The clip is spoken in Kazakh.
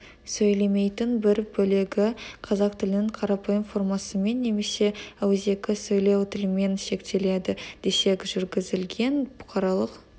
сөйлемейтін бір бөлігі қазақ тілінің қарапайым формасымен немесе ауызекі сөйлеу тілімен шектеледі десек жүргізілген бұқаралық